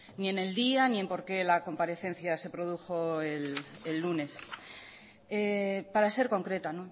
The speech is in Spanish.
ni en el día ni en por qué la comparecencia se produjo el lunes para ser concreta